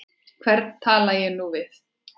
Hvern tala ég nú við?